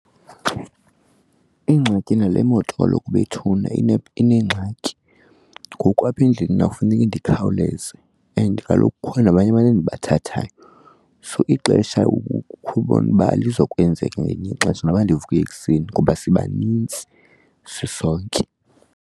Ingxaki nale moto kaloku bethuna inengxaki, ngoku apha endleleni mna kufuneke ndikhawuleze and kaloku kukho nabanye abantu endibathathayo. So ixesha ukhubone uba alizokwenzeka ngelinye ixesha noba ndivuke ekuseni ngoba siba nintsi sisonke.